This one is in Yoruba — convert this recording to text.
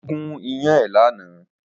Ó gún iyán ẹ̀ lánàá